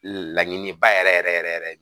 Laɲiniba yɛrɛ yɛrɛ yɛrɛ